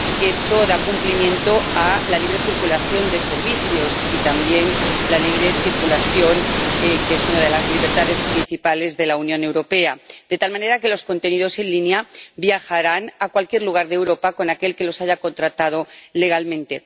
Eso da cumplimiento a la libre circulación de servicios y también a la libre circulación, que es una de las libertades principales de la Unión Europea, de tal manera que los contenidos en línea viajarán a cualquier lugar de Europa con aquel que los haya contratado legalmente.